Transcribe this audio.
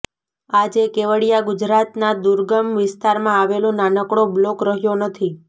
આજે કેવડિયા ગુજરાતના દુર્ગમ વિસ્તારમાં આવેલો નાનકડો બ્લોક રહ્યો નથી